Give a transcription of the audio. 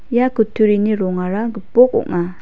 ia kutturini rongara gipok ong·a.